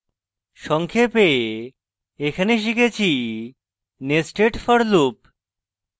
সংক্ষেপে এখানে শিখেছি nested for loop